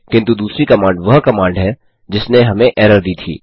किन्तु दूसरी कमांड वह कमांड है जिसने हमें एरर दी थी